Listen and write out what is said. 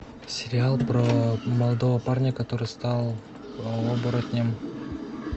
сериал про молодого парня который стал оборотнем